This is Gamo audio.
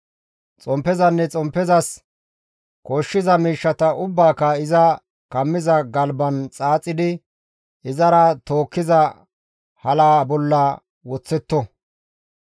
Xomppezanne xomppezas koshshiza miishshata ubbaaka iza kammiza galban xaaxidi izara tookkiza halaa bolla woththetto.